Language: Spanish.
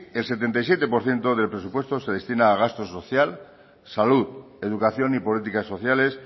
el setenta y siete por ciento del presupuesto se destina a gasto social salud educación y políticas sociales